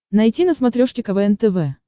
найти на смотрешке квн тв